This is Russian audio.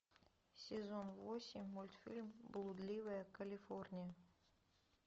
сезон восемь мультфильм блудливая калифорния